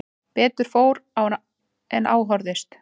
Betur fór því en á horfðist